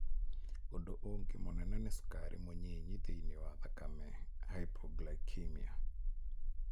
Ũndũ ũngĩ mũnene nĩ cukari mũnyinyi thĩinĩ wa thakame (hypoglycemia).